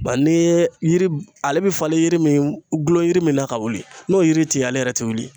Ba ni yiri ale bi falen yiri min gulon yiri min na ka wuli n'o yiri tɛ yen ale yɛrɛ tɛ wuli